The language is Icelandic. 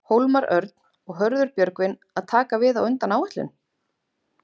Hólmar Örn og Hörður Björgvin að taka við á undan áætlun?